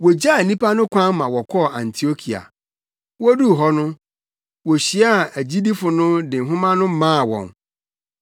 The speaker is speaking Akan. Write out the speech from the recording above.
Wogyaa nnipa no kwan ma wɔkɔɔ Antiokia. Woduu hɔ no, wohyiaa agyidifo no de nhoma no maa wɔn.